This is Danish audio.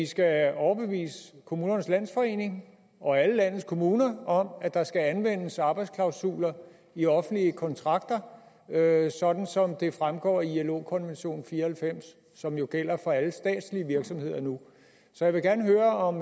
skal overbevise kommunernes landsforening og alle landets kommuner om at der skal anvendes arbejdsklausuler i offentlige kontrakter sådan som det fremgår i ilo konvention fire og halvfems som jo gælder for alle statslige virksomheder nu så jeg vil gerne høre om